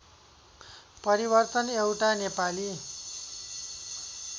परिवर्तन एउटा नेपाली